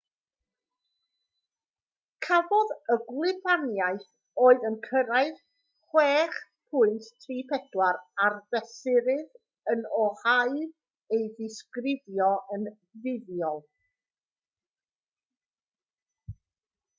cafodd y gwlybaniaeth oedd yn cyrraedd 6.34 ar fesurydd yn oahu ei ddisgrifio yn fuddiol